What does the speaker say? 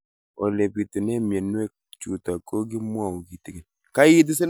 Ole pitune mionwek chutok ko kimwau kitig'�n